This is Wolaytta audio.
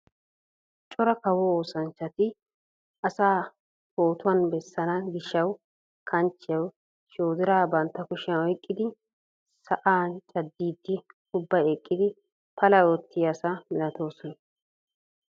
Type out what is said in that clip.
Cora kawo oossanchchati asaa pootuwaan bessana giishsha kanchchiyawu shoodiraa bantta kushiyaan oyqqidi sa'aan caaddiidi ubbay eqqiigidi pala oottiyaa asa milatoosona.